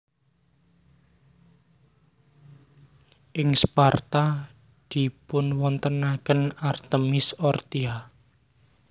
Ing Sparta dipunwontenaken Artemis Orthia